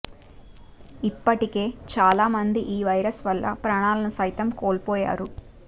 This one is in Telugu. ఇప్పటికే చాలా మంది ఈ వైరస్ వల్ల ప్రాణాలను సైతం కోల్పోయారు